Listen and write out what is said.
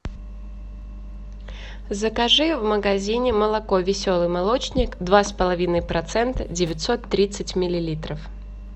закажи в магазине молоко веселый молочник два с половиной процента девятьсот тридцать миллилитров